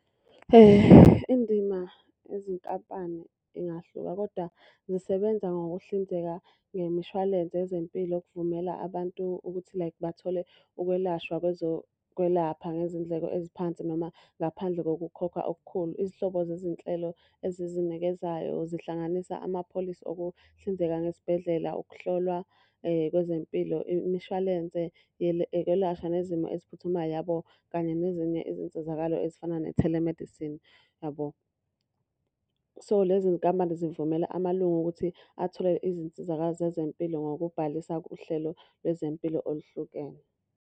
Indima yezinkampani ingahluka, kodwa zisebenza ngokuhlinzeka ngemishwalense yezempilo okuvumela abantu ukuthi like bathole ukwelashwa kwezokwelapha ngezindleko eziphansi noma ngaphandle kokukhokha okukhulu. Izihlobo zezinhlelo ezizinikezayo zihlanganisa amapholisi okuhlinzeka ngezibhedlela, ukuhlolwa kwezempilo, imishwalense yokwelashwa nezimo eziphuthumayo yabo. Kanye nezinye izinsizakalo ezifana ne-telemedicine yabo. So lezi nkampani zivumela amalunga ukuthi athole izinsizakalo zezempilo ngokubhalisa kuhlelo lwezempilo oluhlukene.